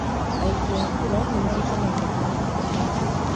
Aikia a kura nĩmariganagĩra hamwe na mathĩna mao